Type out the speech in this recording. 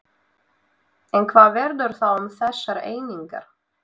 En hvað verður þá um þessar einingar?